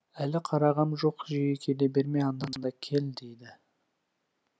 әлі қарағам жоқ жиі келе берме анда санда кел дейді